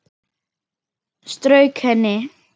Strauk henni.